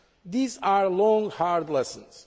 These are long, hard lessons.